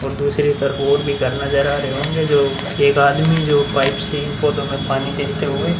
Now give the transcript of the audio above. और दूसरी तरफ और भी घर नजर आ रहे होंगे जो एक आदमी जो पाइप से इन पौधों में पानी देते हुए--